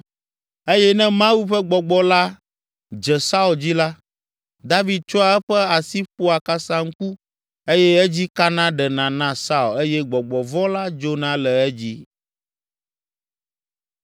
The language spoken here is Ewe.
Eye ne Mawu ƒe gbɔgbɔ la dze Saul dzi la, David tsɔa eƒe asi ƒoa kasaŋku eye edzi kana ɖena na Saul eye gbɔgbɔ vɔ̃ la dzona le edzi.